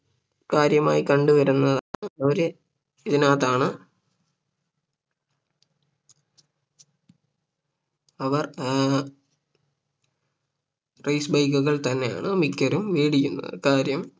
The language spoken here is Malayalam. കാര്യമായി കണ്ടുവരുന്ന ഒരു ഇതിനകത്താണ് അവർ ഏർ Race bike കൾ തന്നെയാണ് മിക്കരും വേടിക്കുന്നത് കാര്യം